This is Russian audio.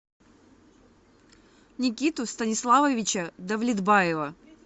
никиту станиславовича давлетбаева